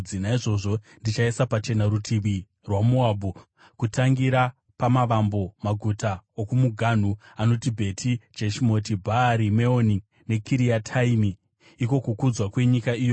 naizvozvo ndichaisa pachena rutivi rwaMoabhu, kutangira pamavambo maguta okumuganhu anoti Bheti Jeshimoti, Bhaari Meoni neKiriataimi iko kukudzwa kwenyika iyoyo.